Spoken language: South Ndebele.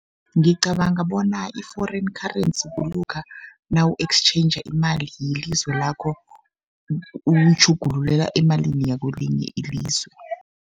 Ngicabanga bona i-foreign currency, kulokha nawu-exchanger imali yelizwe lakho uyitjhugululela emalini yakelinye ilizwe.